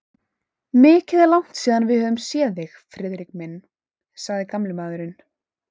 Mikið er langt síðan við höfum séð þig, Friðrik minn sagði gamli maðurinn.